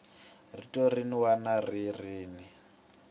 rito rin wana ni rin